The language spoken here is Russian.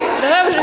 давай уже